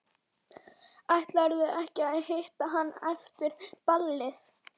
Ætlarðu ekki að hitta hana eftir ballið?